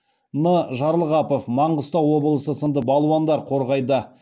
н жарылғапов маңғыстау облысы сынды балуандар қорғайды